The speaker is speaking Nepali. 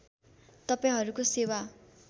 तपाईँहरूको सेवा